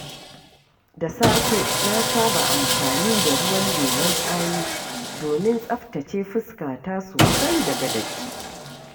Da safe, na saba amfani da ruwan lemon tsami domin tsabtace fuskata sosaii daga datti.